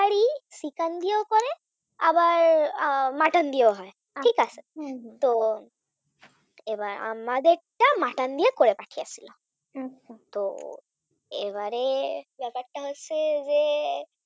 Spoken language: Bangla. আবার Mutton দিয়েও হয় ঠিক আছে তো আমাদেরটা Mutton দিয়ে করে পাঠিয়েছিল। তো এইবারে ব্যাপারটা হচ্ছে যে